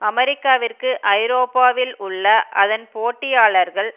அமெரிக்காவிற்கு ஐரோப்பாவில் உள்ள அதன் போட்டியாளர்கள்